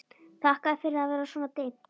Þakkaði fyrir að það var svona dimmt.